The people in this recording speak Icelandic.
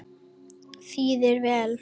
Líður vel.